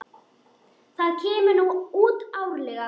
Það kemur nú út árlega.